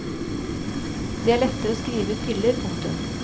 Det er lettere å skrive ut piller. punktum